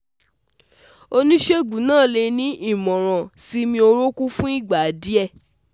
Onisegun naa le ni imọran siimi orokun fun igba diẹ